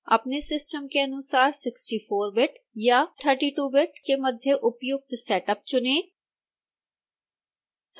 अपने सिस्टम के अनुसार 64 बिट या 32 बिट के मध्य उपयुक्त सेटअप चुनें